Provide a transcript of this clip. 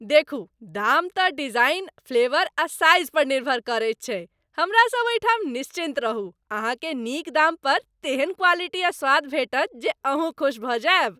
देखू, दाम तँ डिजाइन, फ्लेवर आ साइज़ पर निर्भर करैत छै। हमरा सब ओहिठाम निश्चिन्त रहू, अहाँकेँ नीक दाम पर तेहन क्वालिटी आ स्वाद भेटत जे अहूँ खुस भऽ जायब।